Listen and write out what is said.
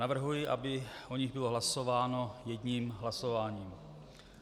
Navrhuji, aby o nich bylo hlasováno jedním hlasováním.